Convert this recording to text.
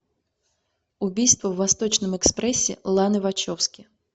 убийство в восточном экспрессе ланы вачовски